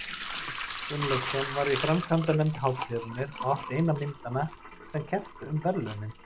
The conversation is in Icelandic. Gunnlaugsson var í framkvæmdanefnd hátíðarinnar og átti eina myndanna sem kepptu um verðlaunin.